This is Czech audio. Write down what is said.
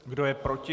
Kdo je proti?